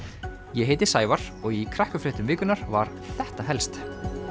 ég heiti Sævar og í krakkafréttum vikunnar var þetta helst